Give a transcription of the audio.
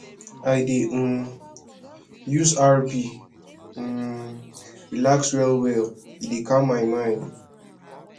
i dey um use rb um relax wellwell e dey calm my mind